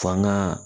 Faŋa